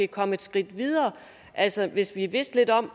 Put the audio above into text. komme et skridt videre altså hvis vi vidste lidt om